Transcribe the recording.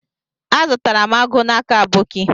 Azutaram agu n'aka aboki.